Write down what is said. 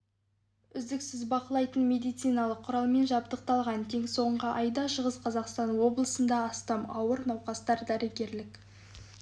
үздіксіз бақылайтын медициналық құралмен жабдықталған тек соңғы айда шығыс қазақстан облысында астам ауыр науқасқа дәрігерлік